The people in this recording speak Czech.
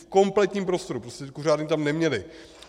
V kompletním prostoru, prostě kuřárny tam neměli.